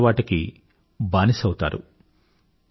ఈ దురలవాటుకి బానిసైపోతారు